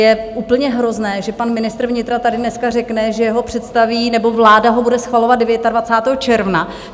Je úplně hrozné, že pan ministr vnitra tady dneska řekne, že ho představí, nebo vláda ho bude schvalovat 29. června.